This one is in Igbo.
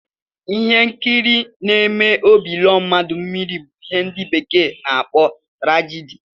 Ihe nkiri n'eme ka óbị lọọ mmadụ mmiri bu ihe ndi bekee n'akpọ trajidi